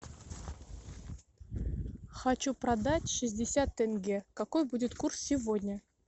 хочу продать шестьдесят тенге какой будет курс сегодня